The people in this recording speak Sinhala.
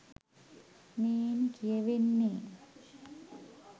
මෙයින් කියවෙන්නේ